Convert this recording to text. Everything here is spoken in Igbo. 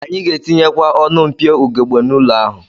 Anyị ga-etinyekwa ọnụ mpio ugegbe n'ụlọ ahụ